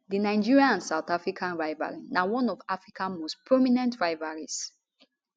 di nigeria and south africa rivalry na one of africa most prominent rivalries